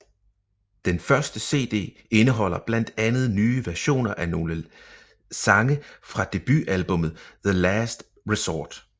Den første CD indeholder blandt andet nye versioner af nogle sange fra debut albummet The Last Resort